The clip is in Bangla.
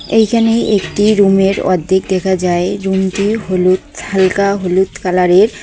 এইখানে একটি রুম -এর অর্ধেক দেখা যায় রুম -টি হলুদ হালকা হলুদ কালার -এর।